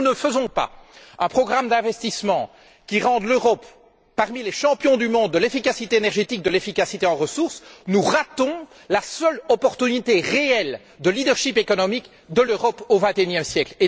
Si nous ne mettons pas en place un programme d'investissement qui fasse de l'Europe un des champions du monde de l'efficacité énergétique, de l'efficacité en ressources, nous ratons la seule opportunité réelle de leadership économique de l'Europe au vingt et unième siècle.